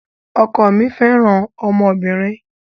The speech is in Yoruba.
Ọkọ mí fẹràn ọmọbìnrin.